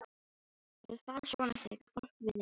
Það vill fara svona þegar fólk vinnur mikið.